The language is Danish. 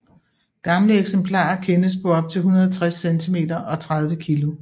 Gamle eksemplarer kendes på op til 160 cm og 30 kg